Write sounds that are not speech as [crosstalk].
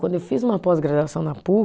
Quando eu fiz uma pós-graduação na [unintelligible]